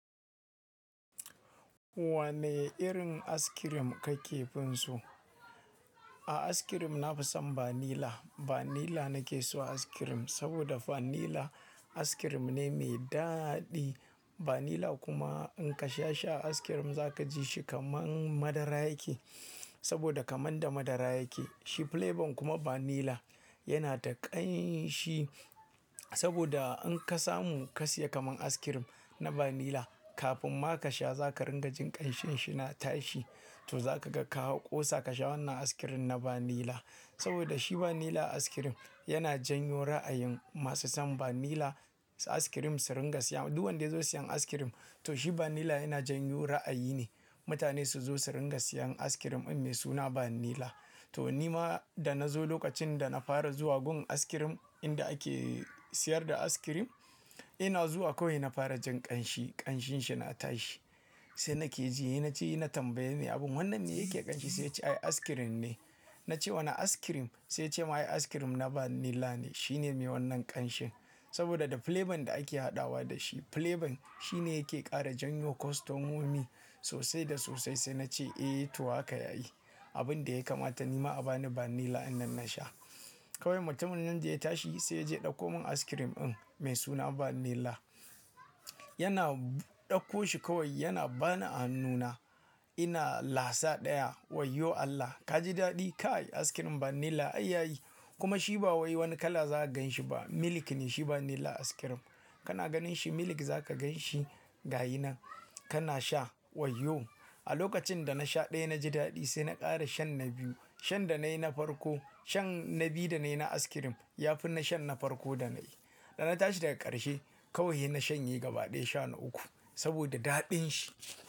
Wane irin askirim kake fin so? A askirim na fi son banila. Banila nake so askirim saboda fanila askirim ne mai daɗi. Banila kuma in ka sha sha askirim za ka ji shi kamar madara yake saboda kamar da madara yake. Shi flabon kuma banila yana da ƙanshi saboda in ka samu ka siya kamar askirim na banila kafin ma ka sha za ka ringa jin ƙanshin shi na tashi. To za ka ga ka hau ƙosa ka sha wannan askirim na banila. Saboda shi banila askirim yana janyo ra'ayin masu son banila askirim su ringa siya. Duk wanda ya zo siyan askirim to shi banila yana janyo ra'ayi ne mutane su zo su ringa siyan askirim in me suna banila. To ni ma da na zo lokacin da na fara zuwa gun askirim inda ake siyar da askirim, ina zuwa kawai na fara jin ƙanshi, ƙanshin shi na tashi. Sai na ke ji, he na ce na tambaye mai abun wannan me yake ƙanshi? Sai ya ce ai askirim ne. Na ce wane askirim? Sai ya ce ai askirim na banila ne shine me wannan ƙanshin saboda da flabon da ake haɗawa da shi. Flabon shi ne yake ƙara janyo kostomomi sosai da sosai. Sai na ce eh to haka yayi. Abin da ya kamata ni ma a ba ni banila in nan na sha. Kawai mutumin nan da ya tashi sai ya je ɗauko mun askirim in me suna banila. Yana ɗauko shi kawai yana bani a hannuna ina lasa ɗaya. Wayyo Allah ka ji daɗi kai askirim banila ai yayi. Kuma shi ba wai wani kala zaka ganshi ba. Milik ne shi banila askirim. Kana ganin shi milik za ka ganshi gayana kana sha. Wayyo a lokacin da na sha ɗaya na ji daɗi sai na ƙara shan na biyu. Shan da na yi na farko, shan na biyu da na yi na askirim yafi na shan na farko da na yi. Da na tashi daga ƙarshe kawai he na shanye gaba ɗaya sha na uku saboda daɗin shi.